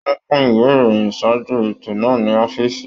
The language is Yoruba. Wọn pin ìwé ìròyìn ṣáájú ètò náà ní ọ̀fiísí.